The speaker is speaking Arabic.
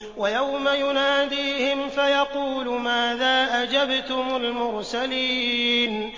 وَيَوْمَ يُنَادِيهِمْ فَيَقُولُ مَاذَا أَجَبْتُمُ الْمُرْسَلِينَ